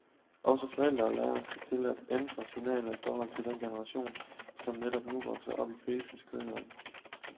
Også forældre og lærere skal til at ændre signaler i forhold til den generation, som netop nu vokser op i krisens kølvand.